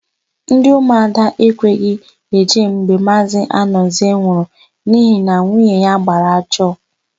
Ndị ụmụada ekweghị eje mgbe Maazị Anọzie nwụrụ n'ihi na nwunye ya gbara ajọ.